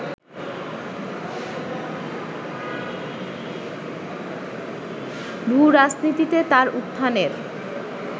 ভূরাজনীতিতে তার উত্থানের